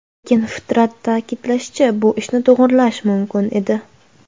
Lekin Fitrat ta’kidlashicha, bu ishni to‘g‘irlash mumkin edi.